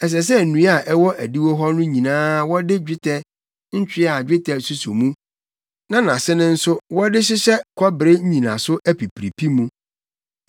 Ɛsɛ sɛ nnua a ɛwɔ adiwo hɔ no nyinaa wɔde dwetɛ ntwea a dwetɛ suso mu, na nʼase no nso wɔde hyehyɛ kɔbere nnyinaso apipiripi mu.